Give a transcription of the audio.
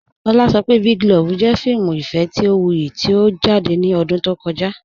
Ọ̀lá sọ̀ pé Big Love jẹ̀ fíìmù ìfẹ̀ tí ó wúyì tí ó jáde ní ọ̀dún tó kọ̀jà.